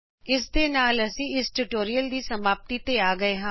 ਇਸ ਦੇ ਨਾਲ ਹੀ ਅਸੀ ਇਸ ਟਯੂਟੋਰੀਅਲ ਦੀ ਸਮਾਪਤਿ ਵਲ ਆ ਗਏ ਹਾਂ